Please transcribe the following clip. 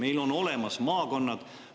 Meil on olemas maakonnad.